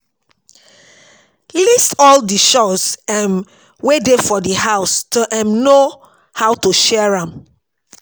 List all di chores um wey dey for di house to um know how to share am